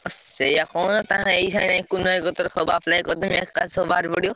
ଆଉ ସେୟା କହୁନ ଟାଙ୍କେ ଏଇ ସାଙ୍ଗେ ଯାଇ କୁନୁ ଭାଇ କତିରେ ସବୁ apply କରିଦେବି ଏକାଥରେ ସବୁ ବାହାରିପଡ଼ିବ।